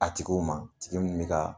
A tigiw ma tigi minnu bɛ ka